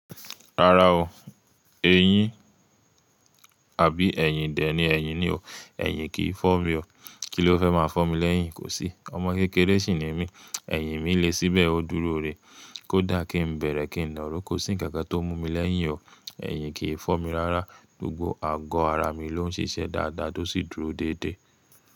Rárá o, eyín àbí ẹyin? Dẹ̀ ní ẹyin ni o, ẹyin kì í fọ́ mi o. Kí ló fẹ́ máa fọ́ mi lẹ́yìn? Kò sí. Ọmọ kékeré sì ni mí, ẹyin mi lé síbẹ̀ ó dúró rè. Kó dà kí n bẹ̀rẹ̀, kí n naró kò, sì nǹkan kan tó mú mi lẹ́yìn o. Ẹ̀yin kì í fọ́ mi rárá, gbogbo ago ara mi ló ń ṣíṣe dáadáa tó sì dúró déédé.